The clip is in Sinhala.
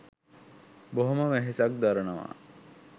බොහොම වෙහෙසක් දරනවා